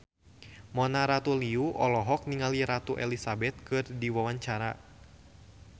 Mona Ratuliu olohok ningali Ratu Elizabeth keur diwawancara